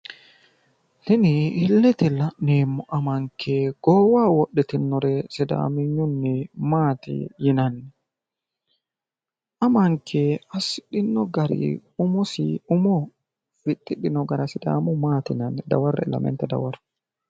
Tini illete la'neemmo amanke goowaho wodhitinnore sidaamenyunni maati yinanni? Amanke assidhinno gari umosi umo fixxidhino gara sidaamuyi maati yinanni? Dawarre"e lamenta dawaro.